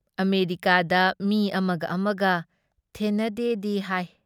ꯑꯃꯦꯔꯤꯀꯥꯗ ꯃꯤ ꯑꯃꯒ ꯑꯃꯒ ꯊꯦꯟꯅꯗꯦꯗꯤ ꯍꯥꯏ ꯫